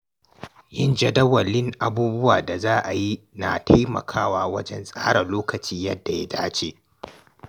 Yin jadawalin abubuwan da za'ayi na taimakawa wajen tsara lokaci yadda ya dace.